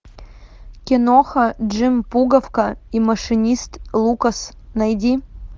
киноха джим пуговка и машинист лукас найди